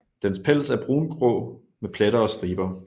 Dens pels er brungrå med pletter og striber